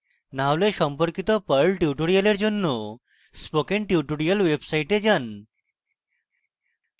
না হলে সম্পর্কিত perl tutorials জন্য spoken tutorials website যান